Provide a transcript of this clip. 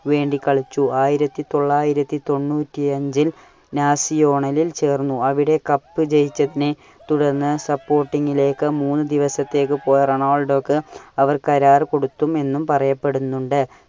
വേണ്ടി കളിച്ചു. ആയിരത്തി തൊള്ളായിരത്തി തൊണ്ണൂറ്റി അഞ്ചിൽ നാസിയോണലിൽ ചേർന്നു. . അവിടെ cup ജയിച്ചതിൽ തുടർന്ന് supporting ലേക്ക് മൂന്ന് ദിവസത്തേക് പോയ റൊണാള്‍ഡോയ്ക്ക് അവര് കരാർ കൊടുത്തു എന്നും പറയപ്പെടുന്നുണ്ട്.